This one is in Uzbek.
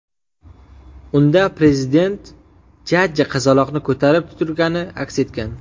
Unda Prezident jajji qizaloqni ko‘tarib turgani aks etgan.